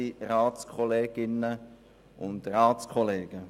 Das Wort hat Grossrat Hügli.